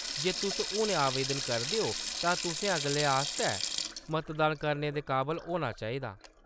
जे तुस हुनै आवेदन करदे ओ तां तुसें अगले आस्तै मतदान करने दे काबल होना चाहिदा।